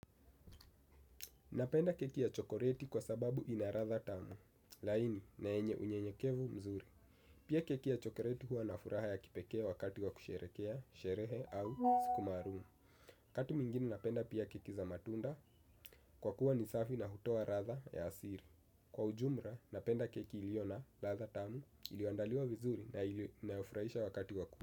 Napenda keki ya chokoleti kwa sababu ina ladha tamu, laini na yenye unyenyekevu mzuri. Pia keki ya chokoleti huwa na furaha ya kipekee wakati wa kusherehekea, sherehe au siku maalumu. Wakati mwingine napenda pia keki za matunda, kwa kuwa ni safi na hutoa ladha ya asili. Kwa ujumla, napenda keki ilio na latha tamu, ilioandaliwa vizuri na inayofurahisha wakati wa kuwa.